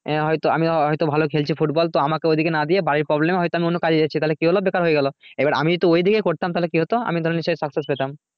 আঃ আমি হয়তো ভালো হয়তো খেলছি football তো আমাকে ওদিকে না দিয়ে বাড়ির problem এ হয়তো আমি অন্য কাজ এ এসেছি তাহলে কি হলো বেকার হয়ে গেলো এবার আমি যদি ওদিকে করতাম তাহলে কি হতো আমি ধরো নিশ্চই শাস্তি পেতাম